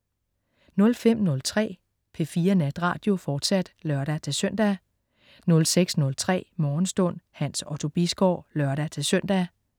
05.03 P4 Natradio, fortsat (lør-søn) 06.03 Morgenstund. Hans Otto Bisgaard (lør-søn)